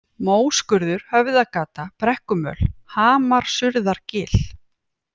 Móskurður, Höfðagata, Brekkumöl, Hamarsurðargil